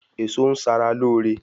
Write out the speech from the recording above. Èso ń sara lóore